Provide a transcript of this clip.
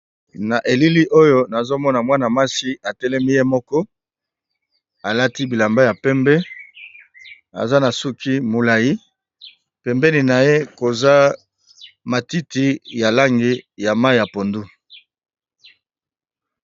Na elili oyo nazo mona mwana muasi atelemi ye moko, alati bilamba ya pembe aza na suki mulai pembeni na ye koza matiti ya langi ya mayi ya pondu.